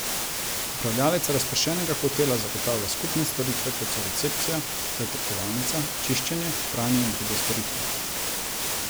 Upravljavec razpršenega hotela zagotavlja skupne storitve, kot so recepcija, zajtrkovalnica, čiščenje, pranje in druge storitve.